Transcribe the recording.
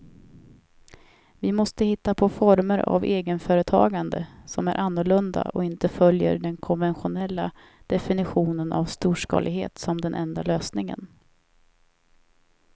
Vi måste hitta på former av egenföretagande som är annorlunda och inte följer den konventionella definitionen av storskalighet som den enda lösningen.